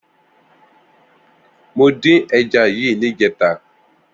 Mó din ẹ̀já yi nijètá